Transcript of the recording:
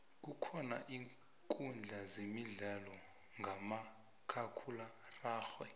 kukhona iinkudla zemidlalo khamakhakhulwararhe